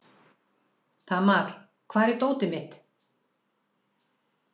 Tamar, hvar er dótið mitt?